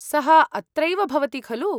सः अत्रैव भवति, खलु?